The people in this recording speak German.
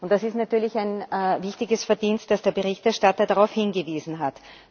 Und das ist natürlich ein wichtiges Verdienst, dass der Berichterstatter darauf hingewiesen hat.